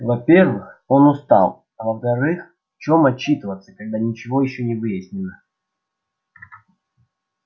во-первых он устал а во-вторых в чем отчитываться когда ничего ещё не выяснено